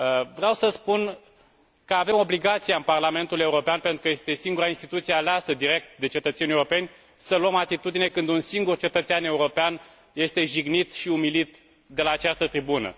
Vreau să spun că avem obligația în Parlamentul European, pentru că este singura instituție aleasă direct de cetățenii europeni, să luăm atitudine, când un singur cetățean european este jignit și umilit de la această tribună.